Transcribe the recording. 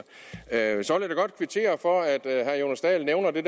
jeg vil så godt kvittere for at herre jonas dahl nævner det